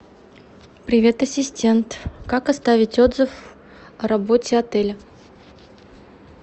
привет ассистент как оставить отзыв о работе отеля